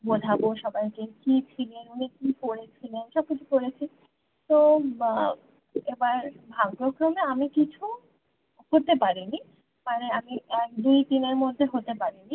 বোঝাবো সবাইকে কি ছিলেন উনি কি করেছিল সবকিছু পরেছি তো বা এবার ভাগ্যক্রমে আমি কিছু হতে পারিনি মানে আমি এক দুই তিন এর মধ্যে হতে পারিনি